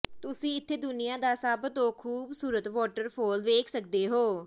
ਤੁਸੀ ਇੱਥੇ ਦੁਨੀਆ ਦਾ ਸਭ ਤੋਂ ਖੂਬਸੂਰਤ ਵਾਟਰਫੌਲ ਵੇਖ ਸਕਦੇ ਹੋ